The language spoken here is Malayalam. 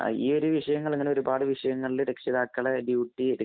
ഈ ഒരു വിഷയങ്ങളില്‍, ഇങ്ങനെ ഒരുപാട് വിഷയങ്ങളില്‍ രക്ഷിതാക്കളുടെ ഡ്യൂട്ടി